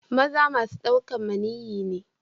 Maza masun daukan maniyyi ne.